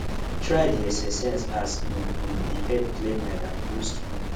try dey exercise as e um dey help clear mind and boost mood